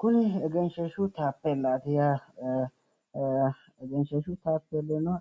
Kuni egenshiishshu taapeellaati yaate. egenshiishshu taapeellino